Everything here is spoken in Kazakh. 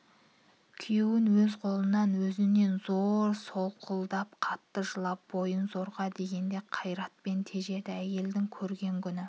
күйеуін өз қолынан өзінен зор солқылдап қатты жылап бойын зорға дегенде қайратпен тежеді әйелдің көрген күні